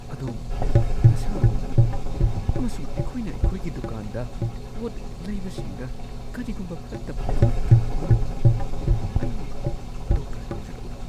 ꯑꯗꯣꯝ ꯅꯁꯥ ꯉꯝꯗꯅ ꯎꯏ ꯑꯃꯁꯨꯡ ꯑꯩꯈꯣꯏꯅ ꯑꯩꯈꯣꯏꯒꯤ ꯗꯨꯀꯥꯟꯗ ꯄꯣꯠ ꯂꯩꯕꯁꯤꯡꯗ ꯀꯔꯤꯒꯨꯝꯕ ꯐꯠꯇꯕ ꯑꯃꯠꯇ ꯊꯣꯛꯍꯟꯕ ꯄꯥꯝꯗꯦ ꯫ ꯑꯩ ꯗꯣꯛꯇꯔ ꯀꯧꯖꯔꯛꯎꯔꯥ? (ꯗꯨꯀꯥꯟꯒꯤ ꯀ꯭ꯂꯔꯛ)